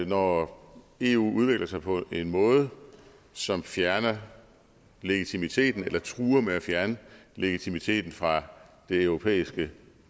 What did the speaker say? når eu udvikler sig på en måde som fjerner legitimiteten eller truer med at fjerne legitimiteten fra det europæiske